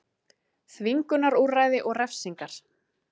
Þvingunarúrræði og refsingar.